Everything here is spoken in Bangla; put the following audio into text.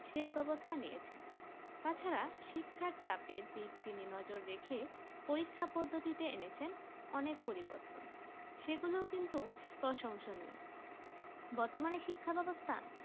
সেই ব্যবস্তা নিয়েছে তাছাড়া শিক্ষার চাপে দিক তিনি নজর রেখে পরীক্ষা পদ্ধতি এনেছেন অনেক পরির্বতন সেগুলো কিন্তু প্ৰসংনীয় বতর্মানে শিক্ষার ব্যবস্থা